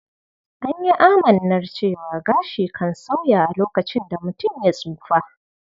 An yi amannar cewar gashi kan sauya a lokacin da mutum ya tsufa.